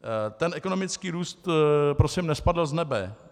Ten ekonomický růst prosím nespadl z nebe.